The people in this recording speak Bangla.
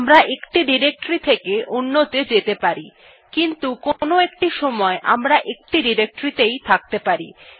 আমরা একটি ডিরেক্টরী থেকে অন্য ত়ে যেতে পারি